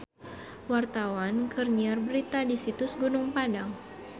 Wartawan keur nyiar berita di Situs Gunung Padang